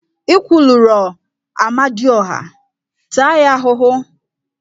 Ị kwulurọ Amadioha, taa ya ahụhụ!